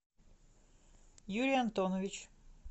юрий антонович